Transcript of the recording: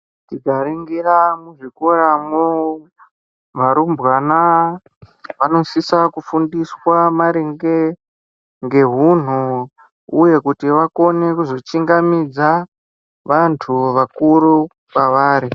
Tikaningira muzvikorawo varumbwana anosise kufundiswa maringe ngehunhu uye kuti vakone kuzochingamidza vantu vakuru kwavari.